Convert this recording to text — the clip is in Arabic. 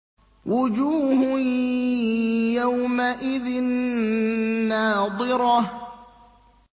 وُجُوهٌ يَوْمَئِذٍ نَّاضِرَةٌ